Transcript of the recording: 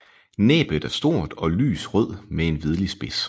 Næbet er stort og lys rød med en hvidlig spids